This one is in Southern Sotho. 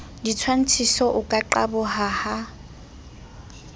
ditshwantshiso o ka qaboha ha